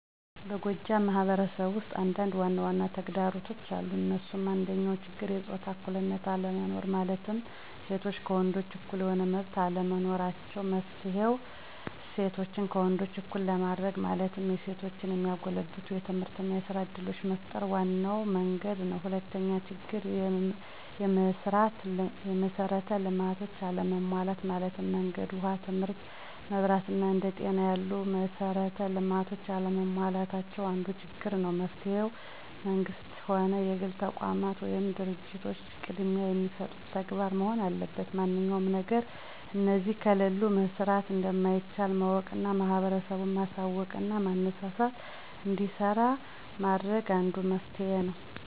በጎጃም ማህበረሰብ ውስጥ አንዳንድ ዋናዋና ተግዳሮቶች አሉ እንሱም፦ አንደኛው ችግር የጾታ እኩልነት አለመኖር ማለትም ሴቶች ከወንዶች እኩል የሆነ መመብት አለመኖራቸው። መፍትሔ :እሴቶችን ከወንዶች እኩል ለማድርግ ማለትም የሴቶችን የሚያጎለብቱ የትምህርትና የስራ እድሎችን መፍጠር ዋናው መንግድ ነው። ሁለተኛው ችግር፦ የመሥራት ልማቶች አለመሟላት ማለትም መንገድ፣ ውሃ ትምህርት፣ መብራት አና አንደ ጤና ያሉ መሠራት ልማቶች አለመሟላት አንዱ ችግር ነው። መፍትሔ መንግስትም ሆነ የግል ተቋማት ወይም ድርጂቶች ቅድሚያ የሚሰጡት ተግባር መሆን አለበት ማንኛውም ነገር እነዚህ ከሌሉ መሠራት እንደማይቻል ማወቅና ህብረተሰቡን ማሳውቅና ማነሳሳትና እንዲሰራ ማድረግ አንዱ መፍትሔ ነው።